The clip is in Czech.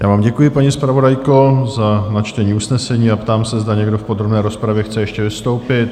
Já vám děkuji, paní zpravodajko, za načtení usnesení a ptám se, zda někdo v podrobné rozpravě chce ještě vystoupit?